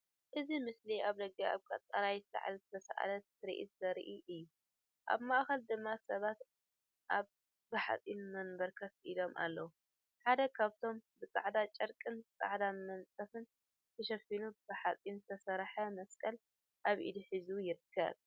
እዚ ምስሊ ኣብ ደገ ኣብ ቀጠልያ ሳዕሪ ዝተሳእለ ትርኢት ዘርኢ እዩ። ኣብ ማእከል ድማ ሰባት ኣብ ብሓጺን መንበር ኮፍ ኢሎም ኣለዉ። ሓደ ካብኣቶም ብጻዕዳ ጨርቂን ጻዕዳ መንጸፍን ተሸፊኑ ብሓጺን ዝተሰርሐ መስቀል ኣብ ኢዱ ሒዙ ይርከብ።